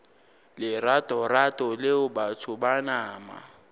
leratorato leo batho ba nama